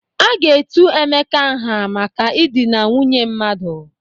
A ga-etu Emeka nha maka idina nwunye mmadụ.